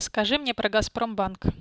скажи мне про газпром